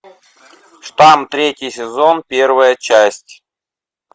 штамм третий сезон первая часть